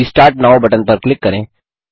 restart now button पर click करें